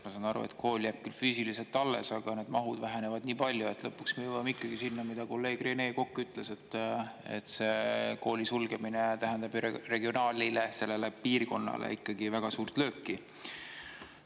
Ma saan aru, et kool jääb küll füüsiliselt alles, aga need mahud vähenevad nii palju, et lõpuks me jõuame ikkagi sinna, mida kolleeg Rene Kokk ütles, et see kooli sulgemine tähendab regionaalile, sellele piirkonnale ikkagi väga suurt lööki.